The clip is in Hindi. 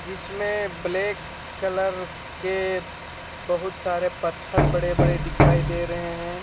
जिसमें ब्लैक कलर के बहुत सारे पत्थर बड़े बड़े दिखाई दे रहे हैं.